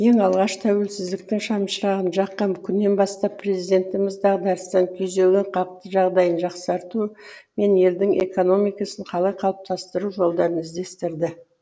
ең алғаш тәуелсіздіктің шамшырағын жаққан күннен бастап президентіміз дағдарыстан күйзелген халықтың жағдайын жақсарту мен елдің экономикасын қалай қалыптастыру жолдарын іздестірді